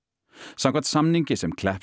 samkvæmt samningi sem